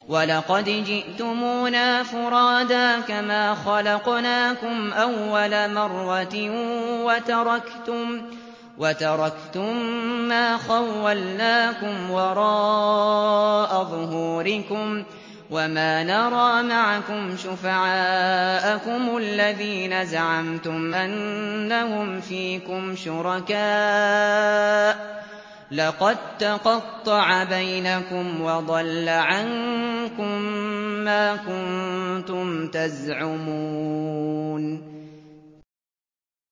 وَلَقَدْ جِئْتُمُونَا فُرَادَىٰ كَمَا خَلَقْنَاكُمْ أَوَّلَ مَرَّةٍ وَتَرَكْتُم مَّا خَوَّلْنَاكُمْ وَرَاءَ ظُهُورِكُمْ ۖ وَمَا نَرَىٰ مَعَكُمْ شُفَعَاءَكُمُ الَّذِينَ زَعَمْتُمْ أَنَّهُمْ فِيكُمْ شُرَكَاءُ ۚ لَقَد تَّقَطَّعَ بَيْنَكُمْ وَضَلَّ عَنكُم مَّا كُنتُمْ تَزْعُمُونَ